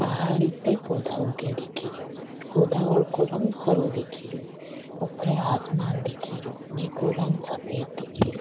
पहाड़ी पे पौधा उगे दिख रा पौधा को रंग हरो दिख रो ऊपर आसमान दिख रो जेको रंग सफेद दिख रो।